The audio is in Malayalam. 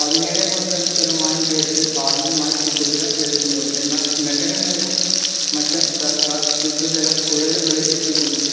പതിനേഴ് point രണ്ട് ശതമാനം പേർക്ക് ഭാഗികമായി ശുദ്ധജലം ലഭിക്കുന്നുള്ളൂ എന്നാൽ നഗരങ്ങളിലും മറ്റും സർക്കാർ ശുദ്ധജലം കുഴലുകളിൽ എത്തിക്കുന്നുണ്ട്